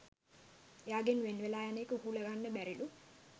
එයාගෙන් වෙන්වෙලා යන එක උහුලගන්න බැරිලූ.